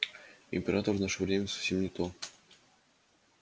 император в наше время совсем не то